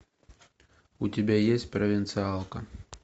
у тебя есть провинциалка